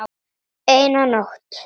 Eina nótt.